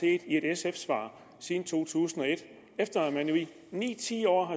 i et sf svar siden to tusind og et efter at man nu i ni ti år